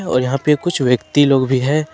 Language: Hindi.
और यहां पे कुछ व्यक्ति लोग भी हैं।